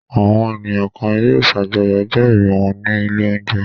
Àwọn ènìyàn kan yóò ṣàjọyọ̀ ọjọ́-ìbí wọn ní ilé-oúnjẹ.